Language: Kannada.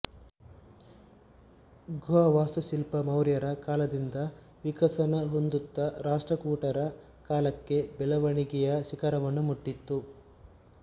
ಗುಹಾವಾಸ್ತುಶಿಲ್ಪ ಮೌರ್ಯರ ಕಾಲದಿಂದ ವಿಕಸನ ಹೊಂದುತ್ತ ರಾಷ್ಟ್ರಕೂಟರ ಕಾಲಕ್ಕೆ ಬೆಳವಣಿಗೆಯ ಶಿಖರವನ್ನು ಮುಟ್ಟಿತು